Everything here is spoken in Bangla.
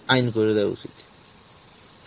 আইন করে দেওয়া উচিত.